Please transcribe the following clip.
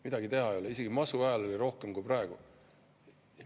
Midagi teha ei ole, isegi masu ajal oli rohkem kui praegu.